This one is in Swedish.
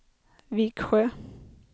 Viksjö